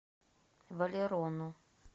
валерону